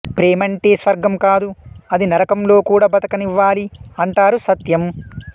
ప్రేమంటే స్వర్గం కాదు అది నరకంలో కూడా బతకనివ్వాలి అంటారు సత్యం